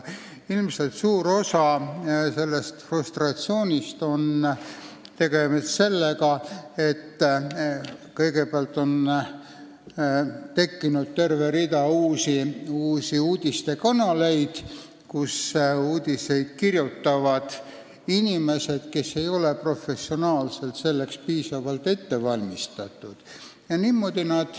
Ilmselt on suur osa sellest frustratsioonist tekkinud nii, et on loodud rida uusi uudistekanaleid, kus uudiseid kirjutavad inimesed, kes ei ole professionaalselt selleks piisavalt ette valmistatud.